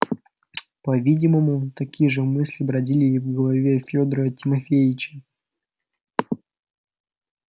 по-видимому такие же мысли бродили и в голове федора тимофеича